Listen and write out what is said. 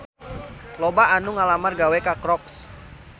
Loba anu ngalamar gawe ka Crocs